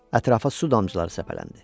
Ətrafa su damcıları səpələndi.